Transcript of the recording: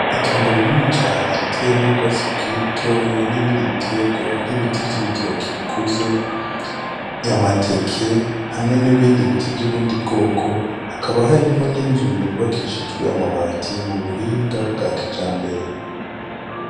Itongo rinini cane riteyemwo ubgatsi bukiri butoya nibindi bitegwa nkibiti vy'ibitoke bikuze , amateke, hamwe n'ibindi biti vyi mubundi bgoko hakaba harimwo n'inzu yubakishijwe amabati mubuhinga bga kijambere .